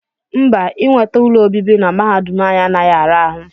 Mba, inweta ụlọ obibi na mahadum anyị anaghị ara ahụ